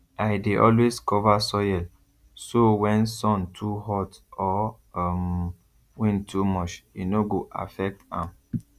i dey always cover soil so when sun too hot or um wind too much e no go affect am